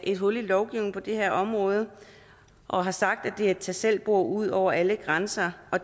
et hul i lovgivningen på det her område og har sagt at det er et tag selv bord ud over alle grænser og